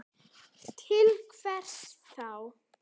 Til hvers þá?